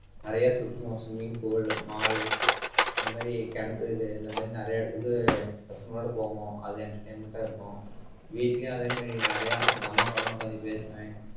நிறைய சுத்துவோம் swimming pool mall இந்த மாதிரி கிணத்துக்கு இந்த மாதிரி நிறைய இடத்துக்கு பசங்களோட போவோம். அது entertainment ஆ இருக்கும். வீட்டிலேயும் அதே மாதிரி நிறைய எங்க அம்மா கூட எல்லாம் உட்கார்ந்து பேசுவேன்.